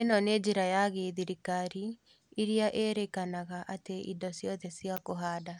ĩno nĩ njĩra ya gĩthirikari iria ĩrĩkanaga atĩ indo ciothe cia kũhanda